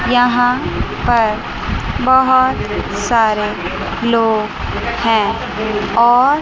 यहां पर बहुत सारे लोग हैं और --